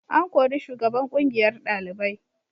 An kori shugaban kungiyar dalibai.